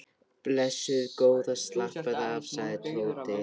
Blessuð góða slappaðu af sagði Tóti.